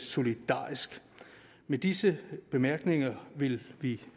solidarisk med disse bemærkninger vil vi